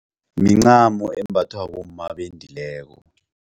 Mincamo embathwa bomma abendileko.